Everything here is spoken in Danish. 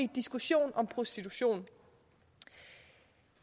diskussion om prostitution